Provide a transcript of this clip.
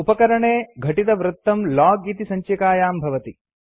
उपकरणे घटितवृत्तं लोग इति सञ्चिकायां भवति